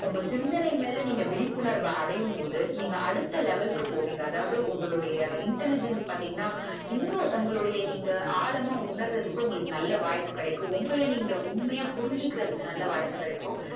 உங்க சிந்தனை மேல நீங்க விழிப்புணர்வு அடையும் போது நீங்க அடுத்த level க்கு போவிங்க அதாது உங்களுடை intelligent பாத்திங்கனா இன்னும் உங்களுடைய நீங்க ஆழமா உணர்ரதுக்கு நல்ல வாய்ப்பு கிடைக்கு உங்கள நீங்க உண்மையா புரிஞ்சிக்கறதுக்கு நல்ல வாய்ப்பு கிடைக்கும்